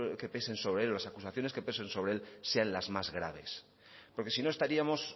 que pesen sobre él o las acusaciones que pesen sobre él sean las más graves porque si no estaríamos